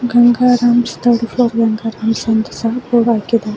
Gangaram's third floor Gangaram's ಅಂತ ಸಹ board ಅನ್ನು ಹಾಕಿದ್ದಾರೆ.